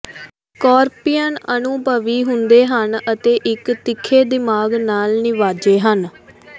scorpions ਅਨੁਭਵੀ ਹੁੰਦੇ ਹਨ ਅਤੇ ਇੱਕ ਤਿੱਖੇ ਦਿਮਾਗ ਨਾਲ ਨਿਵਾਜਦੇ ਹਨ